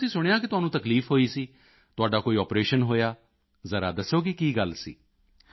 ਅੱਛਾ ਅਸੀਂ ਸੁਣਿਆ ਕਿ ਤੁਹਾਨੂੰ ਤਕਲੀਫ ਹੋਈ ਸੀ ਤੁਹਾਡਾ ਕੋਈ ਆਪਰੇਸ਼ਨ ਹੋਇਆ ਜ਼ਰਾ ਦੱਸੋਗੇ ਕਿ ਕੀ ਗੱਲ ਸੀ